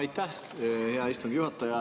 Aitäh, hea istungi juhataja!